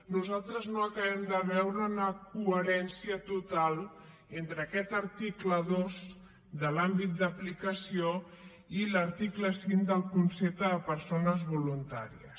nosaltres no acabem de veure una coherència total entre aquest article dos de l’àmbit d’aplicació i l’article cinc del concepte de persones voluntàries